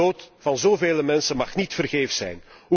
De dood van zovele mensen mag niet vergeefs zijn.